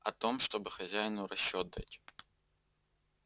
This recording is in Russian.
о том чтобы хазину расчёт дать